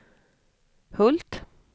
Hult